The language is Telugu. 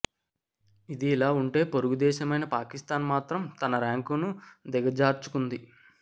ఇది ఇలా ఉంటే పొరుగు దేశమైన పాకిస్థాన్ మాత్రం తన ర్యాంకును దిగజార్చుకుంది